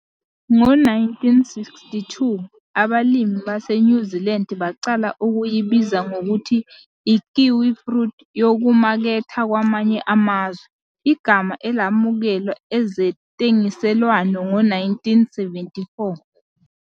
Ngo-1962, abalimi baseNew Zealand baqala ukuyibiza ngokuthi "i-kiwifruit" yokumaketha kwamanye amazwe, igama elamukelwa ezentengiselwano ngo-1974.